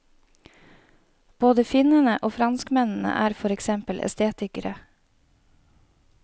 Både finnene og franskmennene er for eksempel estetikere.